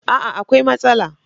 A'a! akwai matsala.